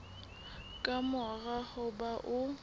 ka mora ho ba o